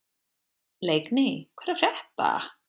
Leikný, hvað er að frétta?